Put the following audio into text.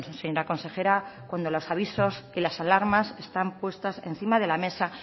señora consejera cuando los avisos y las alarmas están puestas encima de la mesa